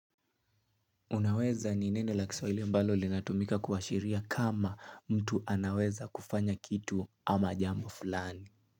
Unaweza ni neno la kiswahili ambalo linatumika kuashiria kama mtu anaweza kufanya kitu ama jambo fulani?